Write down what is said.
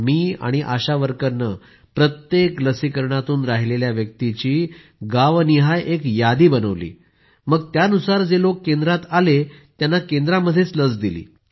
मी आणि आशा वर्करनं प्रत्येक लसीकरणातून राहिलेल्या व्यक्तिची गावनिहाय एक यादी बनवली मग त्यानुसार जे लोक केंद्रात आले त्यांना केंद्रातच लस टोचली